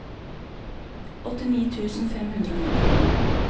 åttini tusen fem hundre og nittini